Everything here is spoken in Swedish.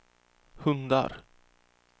hundar